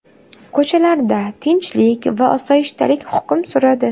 Ko‘chalarda tinchlik va osoyishtalik hukm suradi.